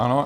Ano.